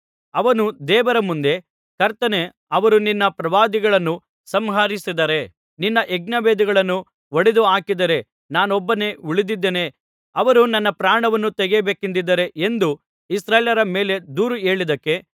ಅವನು ದೇವರ ಮುಂದೆ ಕರ್ತನೇ ಅವರು ನಿನ್ನ ಪ್ರವಾದಿಗಳನ್ನು ಸಂಹರಿಸಿದ್ದಾರೆ ನಿನ್ನ ಯಜ್ಞವೇದಿಗಳನ್ನು ಒಡೆದು ಹಾಕಿದ್ದಾರೆ ನಾನೊಬ್ಬನೇ ಉಳಿದಿದ್ದೇನೆ ಅವರು ನನ್ನ ಪ್ರಾಣವನ್ನು ತೆಗೆಯಬೇಕೆಂದಿದ್ದಾರೆ ಎಂದು ಇಸ್ರಾಯೇಲ್ಯರ ಮೇಲೆ ದೂರು ಹೇಳಿದ್ದಕ್ಕೆ